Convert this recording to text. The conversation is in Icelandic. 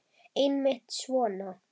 Einmitt svona.